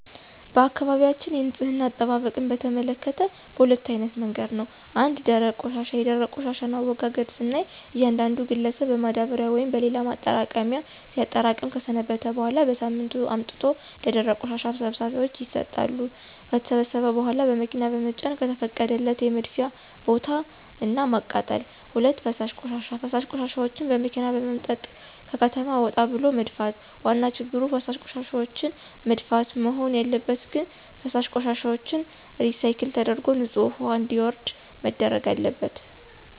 በአካባቢያችን የንፅህና አጠባበቅን በተመከተ በሁለት አይነት መንገድ ነው። ፩) ደረቅ ቆሻሻ፦ የደረቅ ቆሻሻን አወጋገድ ስናይ እያንዳንዱ ግለሰብን በማዳበሪያ ወይም በሌላ ማጠራቀሚያ ሲያጠራቅም ከሰነበተ በኋላ በሳምንቱ አውጥቶ ለደረቅ ቆሻሻ ሰብሳቢዎች ይሰጣሉ። ከተሰበሰበ በኋላ በመኪና በመጫን ከተፈቀደለት የመድፊያ ቦታ እና ማቃጠል። ፪) ፈሳሽ ቆሻሻ፦ ፈሳሽ ቆሻሻዎችን በመኪና በመምጠጥ ከከተማ ወጣ ብሎ መድፋት። ዋና ችግሩ ፈሳሽ ቆሻሻዎችን መድፋት? መሆን ያለበት ግን ፈሳሽ ቆሻሻዎችን ሪሳይክል ተደርጎ ንፅህ ውሀ እንዲወርድ መደረግ አለበት።